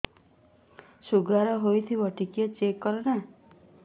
sugar ହେଇଥିବ ଟିକେ check କର ନା